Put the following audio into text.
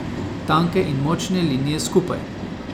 Tanke in močne linije skupaj.